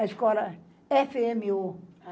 A escola efe eme u.